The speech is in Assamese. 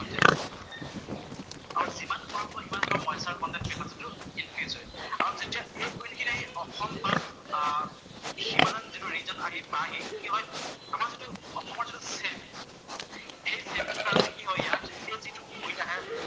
টো ইংক্ৰিচ হয় আৰু যেতিয়া এই উইণ্ড খিনি আহি অসম বা হিমালয়ান যিটো ৰিজন আহি পাইহি, কি হয়, আমাৰ যিটো প্লেট, সেই প্লেটটোৰ কাৰণে কি হয় ইয়াত এই যিটো উইণ্ড আহে